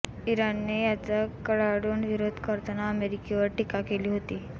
इराणने याचा कडाडून विरोध करताना अमेरिकेवर टीका केली होती